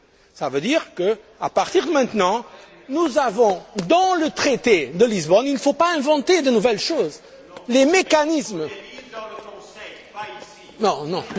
Cela veut dire qu'à partir de maintenant, nous avons, dans le traité de Lisbonne il ne faut pas inventer de nouvelles choses les mécanismes...